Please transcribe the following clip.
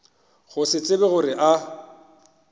go se tsebe gore a